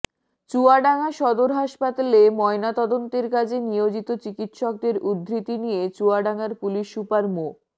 চুয়াডাঙ্গা সদর হাসপাতালে ময়নাতদন্তের কাজে নিয়োজিত চিকিৎসকদের উদ্ধৃতি দিয়ে চুয়াডাঙ্গার পুলিশ সুপার মো